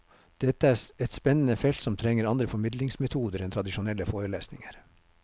Dette er et spennende felt som trenger andre formidlingsmetoder enn tradisjonelle forelesninger.